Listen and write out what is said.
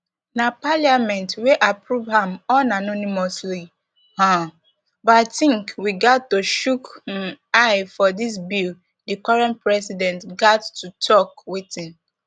na parliament wia approve am unanimously um but i tink we gat to chook um eye for dis bill di current president gat to tok wetin